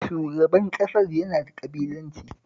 Shugaban ƙasar yana da ƙabilanci